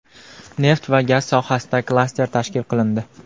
Neft va gaz sohasida klaster tashkil qilindi.